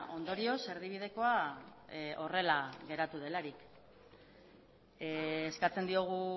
ondorioz erdibidekoa horrela geratu delarik eskatzen diogu